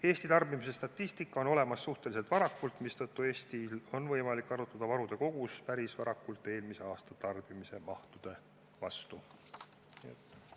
Eesti tarbimise statistika on olemas suhteliselt varakult, mistõttu Eestil on võimalik arvutada varude kogus eelmise aasta tarbimise mahtude põhjal päris varakult.